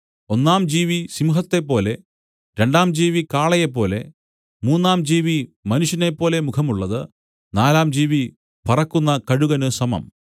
ഒന്നാം ജീവി സിംഹത്തെപ്പോലെ രണ്ടാം ജീവി കാളയെപ്പോലെ മൂന്നാം ജീവി മനുഷ്യനെപ്പോലെ മുഖമുള്ളത് നാലാം ജീവി പറക്കുന്ന കഴുകന് സമം